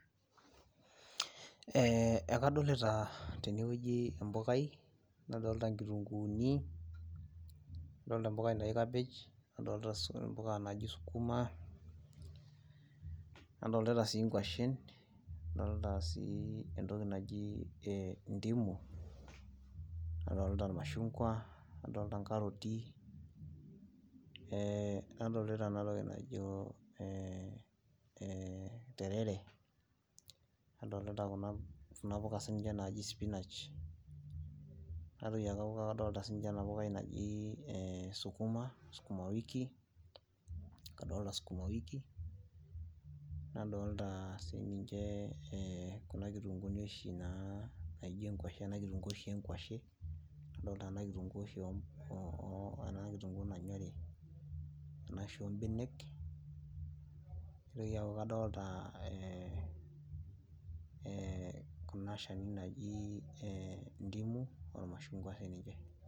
Ee ekadolita tene wueji empukaj nadolita nkitunkuuni, nadolta empukai naji kabej, nadolta empukai naji Sukima, nadoolta sii nkwashen, naadolta sii entoki naji ndimu, nadolta imashungwa nadolta nkaroti, nadolta ena toki najo, we interfere nadolita Kuna puka naaji, spinach naitoki aaku kadolta ena pukai sii ninye naji Sukima, nadolta skuma wiki nadolta sii ninche, Kuna kitunkuuni oshi naijo enkwashe, naijo ena kitunkuu nanyorii ena oshi oobenek, naitoki aaku kadolta Kuna Shani naji ndimu ilmashungua sii ninche.